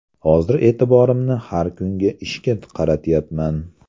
Hozir e’tiborimni har kungi ishga qaratyapman.